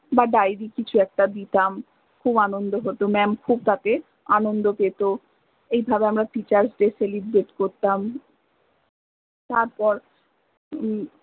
বা diary কিছু একটা দিতাম খুব আনন্দ হত mam খুব তাতে আনন্দ পেত, এই ভাবে আমরা teachersdaycelebrate করতাম তারপর হম